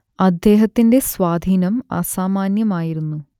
അദ്ദേഹത്തിന്റെ സ്വാധീനം അസാമാന്യമായിരുന്നു